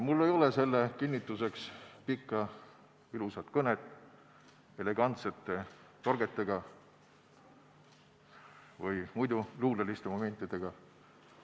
Mul ei ole selle kinnituseks pikka ilusat kõnet elegantsete torgetega või muidu luuleliste momentidega.